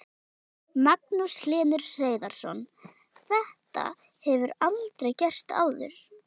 Magnús Hlynur Hreiðarsson: Þetta hefur aldrei gerst áður?